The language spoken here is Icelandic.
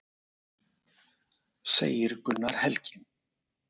Segir Gunnar Helgi.